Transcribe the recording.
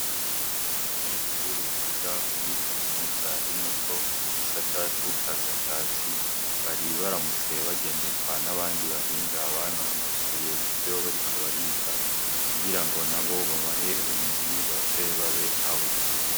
Abanyeshuri biga muri kaminuza y'Umuco, mu gisata c'ubushakashatsi bari baramutse bagenderwa n'abandi bahinga banonosoye ivyo bariko bariga, kugira ngo nabo babahe ubumenyi baze babe nkabo.